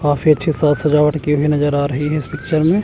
काफी अच्छी साज सजावट की हुई नजर आ रही है इस पिक्चर में।